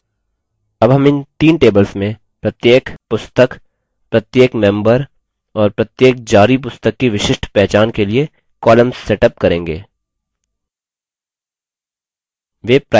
अब हम इन तीन tables में प्रत्येक पुस्तक प्रत्येक member और प्रत्येक जारी पुस्तक की विशिष्ट पहचान के लिए columns सेटअप करेंगे